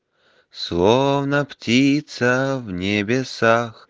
словно птица в небесах